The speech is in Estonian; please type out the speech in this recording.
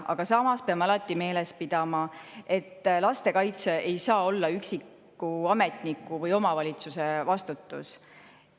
Aga samas peame alati meeles pidama, et laste kaitse ei saa olla üksiku ametniku või omavalitsuse vastutus.